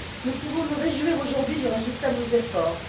Nous pouvons nous réjouir aujourd'hui du résultat de nos efforts.